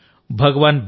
మిత్రులారా